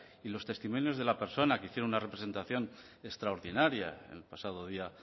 y los testimonios de la persona que hicieron una representación extraordinaria el pasado día